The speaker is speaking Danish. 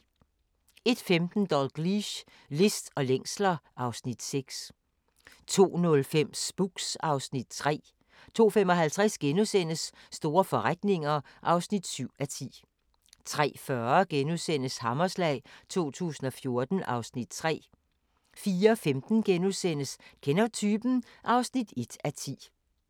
01:15: Dalgliesh: List og længsler (Afs. 6) 02:05: Spooks (Afs. 3) 02:55: Store forretninger (7:10)* 03:40: Hammerslag 2014 (Afs. 3)* 04:15: Kender du typen? (1:10)*